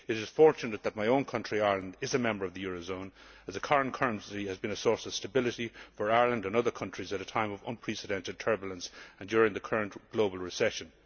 It is fortunate that my own country, Ireland, is a member of the euro zone as the current currency has been a source of stability for Ireland and other countries at a time of unprecedented turbulence and during the current global recession.